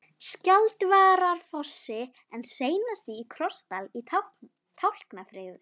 Skjaldvararfossi en seinast í Krossdal í Tálknafirði.